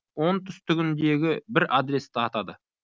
оңтүстігіндегі бір адресті атады